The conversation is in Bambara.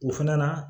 O fana na